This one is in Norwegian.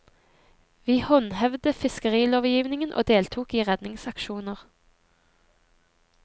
Vi håndhevde fiskerilovgivningen og deltok i redningsaksjoner.